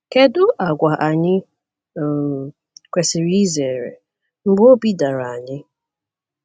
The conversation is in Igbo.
Kedu àgwà anyị um kwesịrị izere mgbe obi dara anyị?